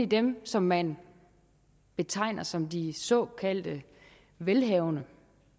dem som man betegner som de såkaldt velhavende